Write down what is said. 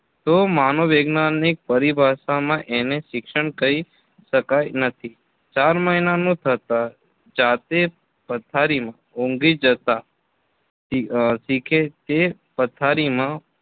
તો મનોવિજ્ઞાનની પરિભાષામાં એને શિક્ષણ કહી શકાય નથી ચાર મહિનાનું થતાં જાતે પથારીમાં ઊંઘી જતા અમ શીખે કે પથારીમાં